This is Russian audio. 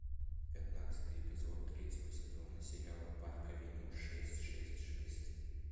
пятнадцатый эпизод третьего сезона сериала парк авеню шесть шесть шесть